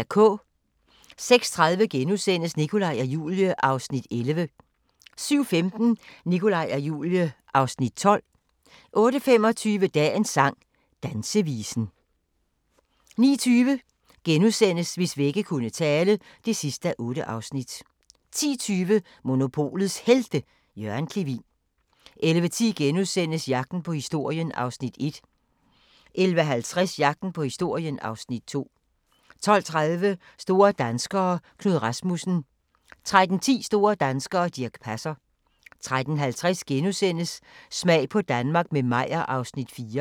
06:30: Nikolaj og Julie (Afs. 11)* 07:15: Nikolaj og Julie (Afs. 12) 08:25: Dagens sang: Dansevisen 09:20: Hvis vægge kunne tale (8:8)* 10:20: Monopolets Helte – Jørgen Clevin 11:10: Jagten på historien (Afs. 1)* 11:50: Jagten på historien (Afs. 2) 12:30: Store danskere - Knud Rasmussen 13:10: Store danskere - Dirch Passer 13:50: Smag på Danmark – med Meyer (Afs. 4)*